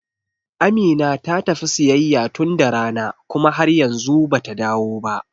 Amina ta tafi siyayya tun da rana kuma har yanzu bata dawo ba.